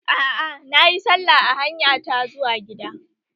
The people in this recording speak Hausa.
Aa, nayi sallah a hanya ta zuwa gida